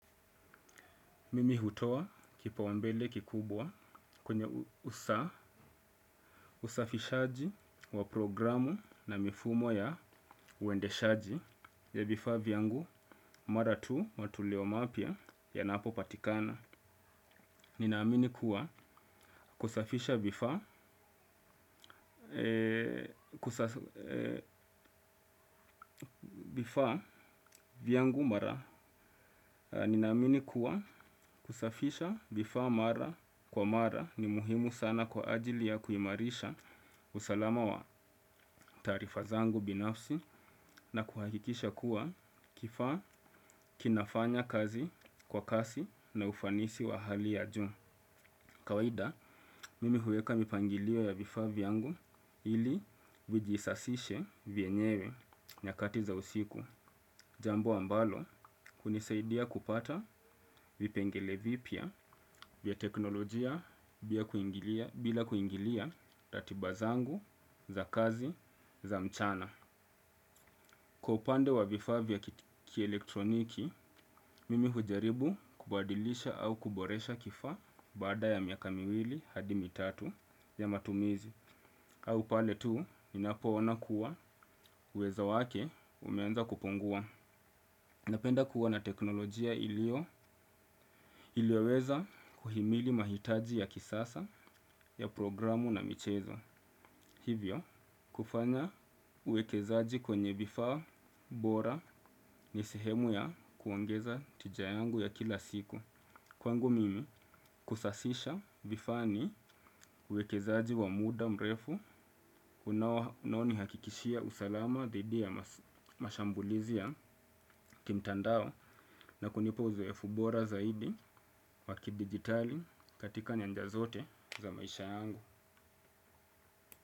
Mimi hutoa kipaumbele kikubwa kwenye usafishaji wa programu na mifumo ya uendeshaji ya vifaa vyangu mara tu matulio mapya yanapopatikana. Ninaamini kuwa kusafisha vifaa vifaa vyangu mara, vifaa mara kwa mara ni muhimu sana kwa ajili ya kuimarisha usalama wa taarifa zangu binafsi na kuhakikisha kuwa kifaa kinafanya kazi kwa kasi na ufanisi wa hali ya juu. Kawaida, mimi huweka mipangilio ya vifaa vyangu ili vijisasishe vyenyewe nyakati za usiku. Jambo ambalo hunisaidia kupata vipengele vipya vya teknolojia bila kuingilia ratiba zangu za kazi za mchana. Kwa upande wa vifaa vya kielektroniki, mimi hujaribu kubadilisha au kuboresha kifaa baada ya miaka miwili hadi mitatu ya matumizi. Au pale tu, ninapoona kuwa uwezo wake umeanza kupungua. Napenda kuwa na teknolojia ilio, ilioweza kuhimili mahitaji ya kisasa ya programu na michezo. Hivyo, kufanya uwekezaji kwenye vifaa bora ni sehemu ya kuongeza tija yangu ya kila siku. Kwangu mimi, kusasisha vifaa ni uwekezaji wa muda mrefu, unaonihakikishia usalama dhidi ya mashambulizi ya kimtandao na kunipa uzoefu bora zaidi wakidigitali katika nyanja zote za maisha yangu.